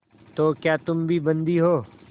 तो क्या तुम भी बंदी हो